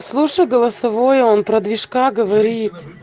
слушать голосовое он про движка говорит